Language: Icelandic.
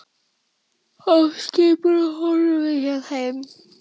Af skipinu horfi ég heim.